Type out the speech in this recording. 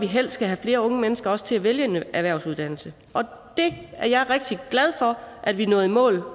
helst skal have flere unge mennesker til at vælge en erhvervsuddannelse det er jeg rigtig glad for at vi nåede i mål